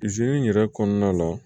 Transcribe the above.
in yɛrɛ kɔnɔna la